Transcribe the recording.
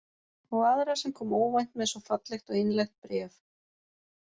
Og aðra sem kom óvænt með svo fallegt og einlægt bréf.